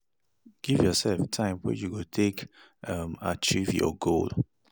Give yourself time wey you go um take achieve saving your goal